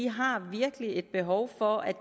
har virkelig behov for at